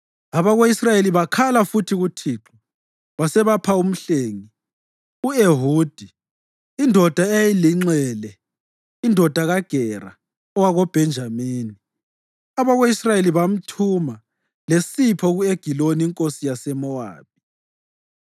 Abako-Israyeli bakhala futhi kuThixo, wasebapha umhlengi u-Ehudi, indoda eyayilinxele indodana kaGera owakoBhenjamini. Abako-Israyeli bamthuma lesipho ku-Egiloni inkosi yaseMowabi.